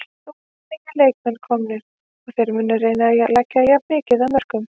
Nú eru nýir leikmenn komnir og þeir munu reyna að leggja jafn mikið af mörkum.